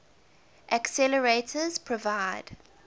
accelerators provide